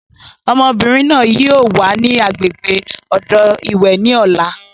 Ọmọbìnrin náà yìí ó wà ní agbègbè odò ìwẹ̀ ni ọ̀la.